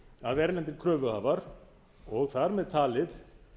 að erlendir kröfuhafar og þar með talið